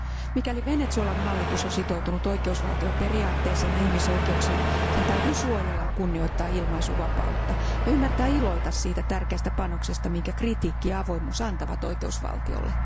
Mikäli Venezuelan hallitus on sitoutunut oikeusvaltioperiaatteeseen ja ihmisoikeuksiin, sen täytyy suojella ja kunnioittaa ilmaisuvapautta ja ymmärtää iloita siitä tärkeästä panoksesta, minkä kritiikki ja avoimuus antavat oikeusvaltiolle.